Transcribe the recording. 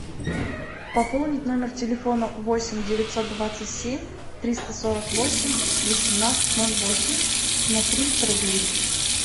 пополнить номер телефона восемь девятьсот двадцать семь триста сорок восемь восемнадцать ноль восемь на триста рублей